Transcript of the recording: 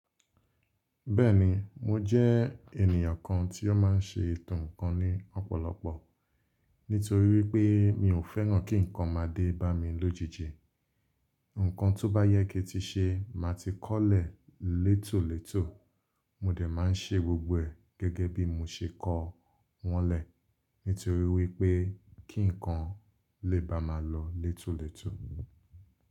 Bẹ́ẹ̀ni mo jẹ́ ènìyàn kan tí ó máa ń ṣe ètò ǹkan ní ọ̀pọ̀lọpọ̀ nítorí wípé mi ò fẹ́ràn kí ǹkan máa dé bá mi lójijì. Ǹkan tó bá yẹ kí ti ṣe má ti kọ̀lẹ̀ létòlètò mo dẹ̀ máa ń ṣe gbogbo ẹ̀ gẹ́gẹ́ bí mo ṣe kọ wọ́n lẹ nítorí wípé kí ǹkan lè bá mà lọ létòlètò.